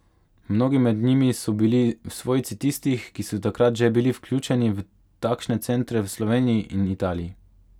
Mnogi med njimi so bili svojci tistih, ki so takrat že bili vključeni v takšne centre v Sloveniji in Italiji.